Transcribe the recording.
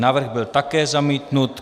Návrh byl také zamítnut.